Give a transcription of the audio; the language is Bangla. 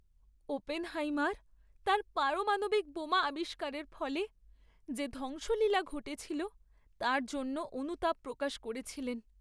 ওপেনহেইমার তাঁর পারমাণবিক বোমা আবিষ্কারের ফলে যে ধ্বংসলীলা ঘটেছিল তার জন্য অনুতাপ প্রকাশ করেছিলেন।